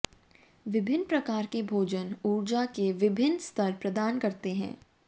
विभिन्न प्रकार के भोजन ऊर्जा के विभिन्न स्तर प्रदान करते हैं